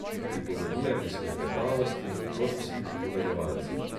Pripovedujem iz klepetavosti, kot vsi pripovedovalci.